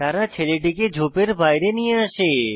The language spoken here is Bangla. তারা ছেলেটিকে ঝোপের বাইরে নিয়ে আসে